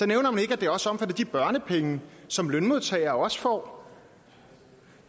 nævnes ikke at det også omfatter de børnepenge som lønmodtagere også får